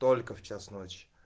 только в час ночи